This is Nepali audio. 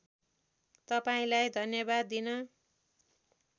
तपाईँलाई धन्यवाद दिन